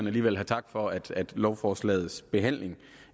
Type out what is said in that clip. alligevel have tak for at lovforslagets behandling